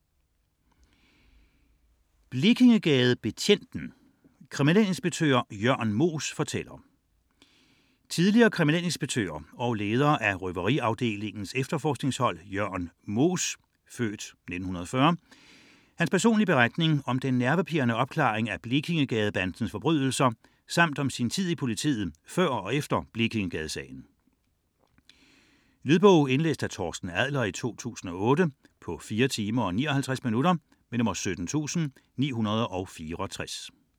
99.4 Moos, Jørn Blekingegadebetjenten: kriminalinspektør Jørn Moos fortæller Tidligere kriminalinspektør og leder af røveriafdelingens efterforskningshold Jørn Moos' (f. 1940) personlige beretning om den nervepirrende opklaring af Blekingegadebandens forbrydelser samt om sin tid i politiet før og efter Blekingegadesagen. Lydbog 17964 Indlæst af Torsten Adler, 2008. Spilletid: 4 timer, 59 minutter.